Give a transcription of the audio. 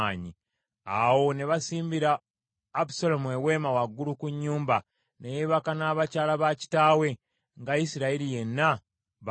Awo ne basimbira Abusaalomu eweema waggulu ku nnyumba ne yeebaka n’abakyala ba kitaawe, nga Isirayiri yenna balaba.